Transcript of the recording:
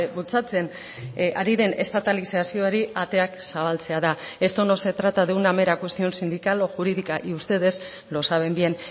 bultzatzen ari den estatalizazioari ateak zabaltzea da esto no se trata de una mera cuestión sindical o jurídica y ustedes lo saben bien